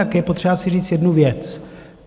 Je potřeba si říct jednu věc.